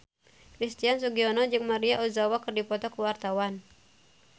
Christian Sugiono jeung Maria Ozawa keur dipoto ku wartawan